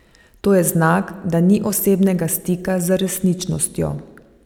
To je znak, da ni osebnega stika z resničnostjo.